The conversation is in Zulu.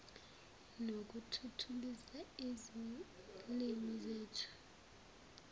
nokuthuthukisa izilimi zethu